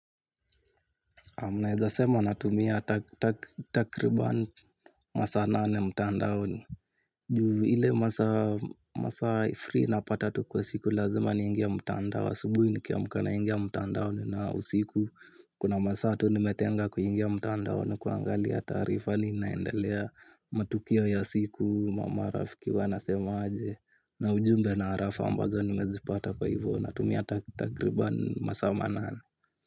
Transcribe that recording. Mneza sema natumia takribani masa nane mtandaoni. Ile masa free napata tu kwa siku lazima ningie mtandaoni. Asubuhi nikiamka naingia mtandaoni na usiku. Kuna masa tunimetenga kuingia mtandaoni. Kuangalia tarifa ninaendelea matukio ya siku. Mama rafiki wana semaje. Na ujumbe na arafa ambazo nimezipata kwa hivyo. Natumia takribani masa manane.